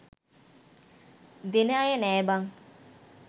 දෙන අය නෑ බං